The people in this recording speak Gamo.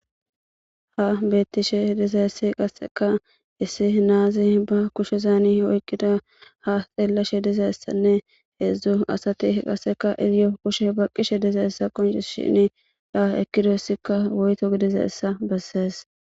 ha beettishe dizayessi qasseka issi naazi ba kushe zaani oyqqida ha xeellashe dizayssanne heedzdzu asati qasseka iziyo kushe baqqishe dizayssa qonci shini da ekkidossika woyto gidizayssa bessees